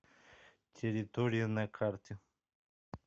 территория на карте